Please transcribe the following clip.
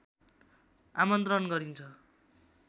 आमन्त्रण गरिन्छ